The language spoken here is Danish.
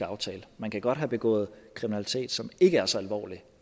aftale man kan godt have begået kriminalitet som ikke er så alvorlig